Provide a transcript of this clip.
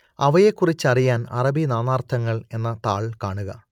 അവയെക്കുറിച്ചറിയാൻ അറബി നാനാർത്ഥങ്ങൾ എന്ന താൾ കാണുക